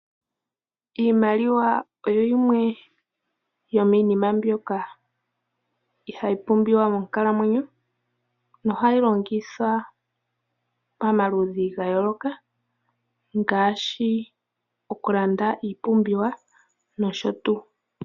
Iimaliwa oyo yimwe yomiinima mbyoka hayi pumbiwa monkalamwenyo, nohayi longithwa pamaludhi ga yooloka ngaashi okulanda iipumbiwa nosho tuu.